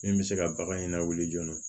Min bɛ se ka bagan in lawuli joona